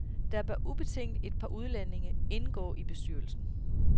Der bør ubetinget et par udlændinge indgå i bestyrelsen.